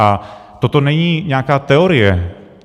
A toto není nějaká teorie.